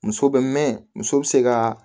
Muso bɛ mɛɛn muso bɛ se ka